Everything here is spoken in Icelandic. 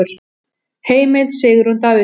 Heimild: Sigrún Davíðsdóttir.